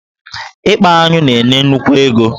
Ịkpa aṅụ na-enye nnukwu ego.